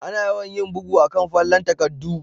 Ana yawan yin bugu a'kan fallen takaddu.